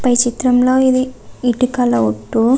పై చిత్రం లొ ఇది ఇటికల ఒట్టు --